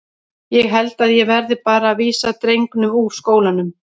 Ég held að ég verði bara að vísa drengnum úr skólanum.